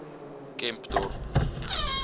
kempdorp